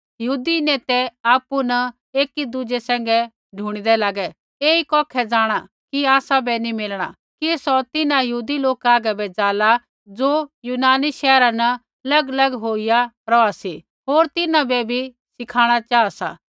यहूदी नेतै आपु न एकी दूज़ै सैंघै ढूणिदै लागे ऐई कौखै जाँणा कि आसा वै नैंई मिलणा कि सौ तिन्हां यहूदी लोका हागै बै जाला ज़ो यूनानी शैहरा न लगलग होईया रौहा सी होर तिन्हां बै बी सिखाणा चाहा सा